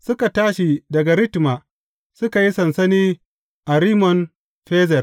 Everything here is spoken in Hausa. Suka tashi daga Ritma, suka yi sansani a Rimmon Ferez.